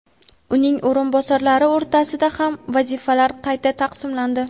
uning o‘rinbosarlari o‘rtasida ham vazifalar qayta taqsimlandi.